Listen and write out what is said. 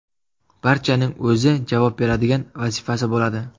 Barchaning o‘zi javob beradigan vazifasi bo‘ladi.